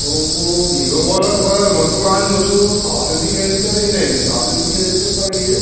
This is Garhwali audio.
और वो भीमा वाला बगल मा दुकान जो च वो साफ़ नी दिखेणी च अर इने भी साफ़ नी दिखेणी च पर ये --